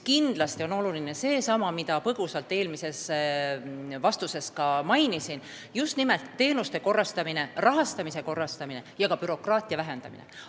Kindlasti on oluline see, mida ma põgusalt eelmises vastuses ka mainisin: just nimelt teenuste korrastamine, rahastamise korrastamine ja bürokraatia vähendamine.